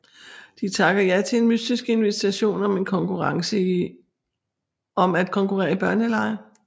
De takker ja til en mystisk invitation om at konkurrere i børnelege